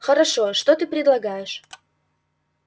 хорошо что ты предлагаешь